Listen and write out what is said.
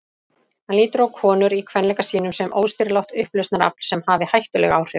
Hann lítur á konur í kvenleika sínum sem óstýrilátt upplausnarafl sem hafi hættuleg áhrif.